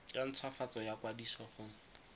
ya ntshwafatso ya kwadiso go